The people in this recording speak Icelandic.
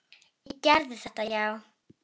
Ég gerði þetta, já.